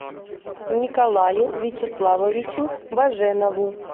николаю вячеславовичу баженову